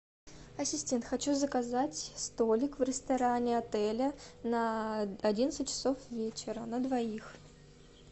ассистент хочу заказать столик в ресторане отеля на одиннадцать часов вечера на двоих